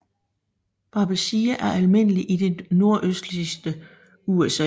Babesia er almindelig i det nordøstlige USA